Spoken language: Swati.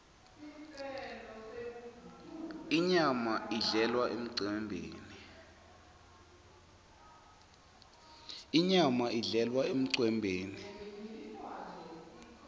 inyama idlelwa emcembeni